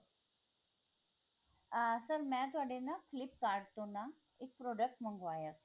ਅਮ sir ਮੈਂ ਤੁਹਾਡੇ ਨਾ flip cart ਤੋਂ ਨਾ ਇੱਕ product ਮੰਗਵਾਇਆ ਸੀ